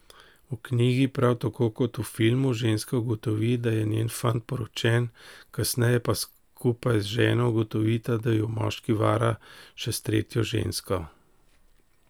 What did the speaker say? V knjigi, prav tako kot v filmu, ženska ugotovi, da je njen fant poročen, kasneje pa skupaj z ženo ugotovita, da ju moški vara še s tretjo žensko.